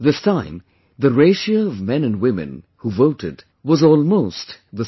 This time the ratio of men & women who voted was almost the same